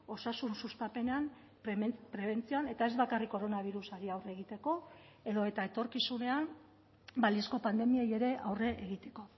osasun sustapenean prebentzioan eta ez bakarrik koronabirusari aurre egiteko edota etorkizunean balizko pandemiei ere aurre egiteko